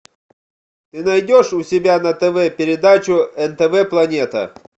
ты найдешь у себя на тв передачу нтв планета